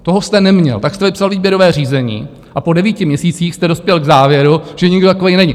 Toho jste neměl, tak jste vypsal výběrové řízení a po devíti měsících jste dospěl k závěru, že nikdo takový není.